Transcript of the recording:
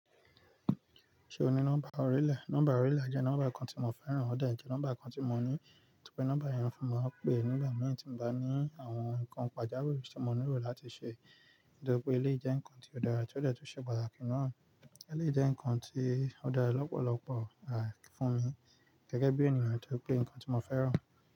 Ṣe o ni nọmba orile? Nọmba orile jẹ nọmba kan ti mo fẹran, o de jẹ nọmba kan ti mo ni, nitoripe nọmba yen fi mo pe nigba meatin ba ni àwọn nkán pajawiri ti mo nire lati ṣe. Nitoripe eleyi jẹ nkán ti o dara ti o de ti o ṣe pataki naa. Eleyi jẹ nkán ti o dara lọpọlọpọ à fún mi gẹgẹbi eniyan nitoripe nkán ti mo fẹran.